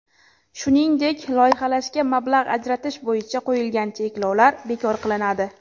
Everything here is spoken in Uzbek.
Shuningdek, loyihalashga mablag‘ ajratish bo‘yicha qo‘yilgan cheklovlar bekor qilinadi.